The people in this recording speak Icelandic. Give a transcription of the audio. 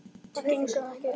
Það gengur ekki upp.